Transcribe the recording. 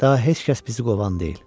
Daha heç kəs bizi qovan deyil.